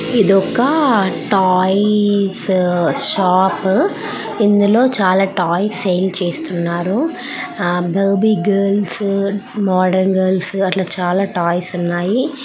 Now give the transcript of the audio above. ఇది ఒక toys shop . ఇందులో చాలా టాయ్స్ సేల్స్ చేస్తున్నారు. బేబీ గర్ల్స్ మోడల్ గర్ల్స్ అట్లా చాలా టాయ్స్ ఉన్నాయి.